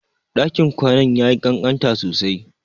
Ɗakin kwanan yayi kankanta sosai.